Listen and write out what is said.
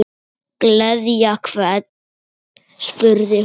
Gleðja hvern? spurði hún.